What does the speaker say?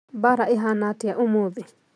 Bara ĩhana atĩa ũmũthĩ?